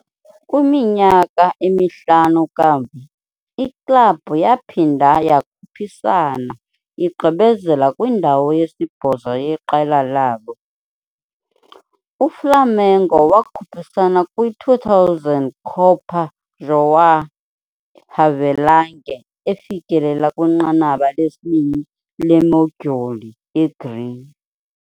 Kwiminyaka emihlanu kamva, iklabhu yaphinda yakhuphisana, igqibezela kwindawo yesibhozo yeqela labo. UFlamengo wakhuphisana kwi -2000 Copa João Havelange, efikelela kwinqanaba lesibini leModyuli yeGreen.